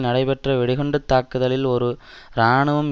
நடைபெற்ற வெடிகுண்டுத்தாக்குதலில் ஒரு இராணுவம்